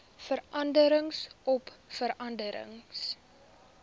vergaderings oop vergaderings